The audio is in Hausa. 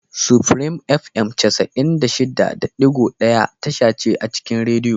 Supreme Fm cas'in da shida da ɗigo daya tasha ce a cikin rediyo.